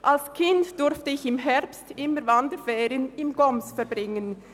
Als Kind durfte ich im Herbst immer Wanderferien im Goms verbringen.